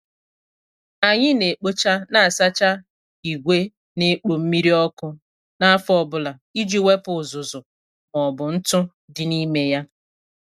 Anyị na- ekpocha na asacha ìgwè na- ekpo mmiri ọkụ n' afọ ọbụla iji wepụ uzuzu maọbụ ntụ dị n' ime ya.